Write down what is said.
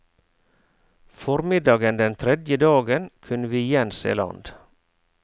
Formiddagen den tredje dagen kunne vi igjen se land.